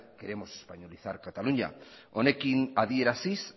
queremos españolizar cataluña honekin adieraziz